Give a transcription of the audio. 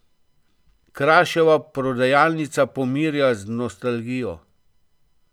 Kraševa prodajalnica pomirja z nostalgijo.